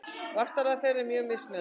Vaxtarlag þeirra er mjög mismunandi.